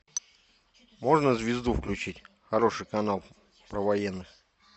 можно звезду включить хороший канал про военных